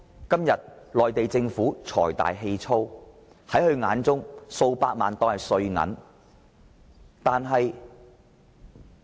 今天的內地政府財大氣粗，視數百萬元為零錢而已。